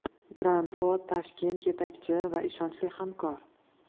Grand Road Tashkent yetakchi va ishonchli hamkor!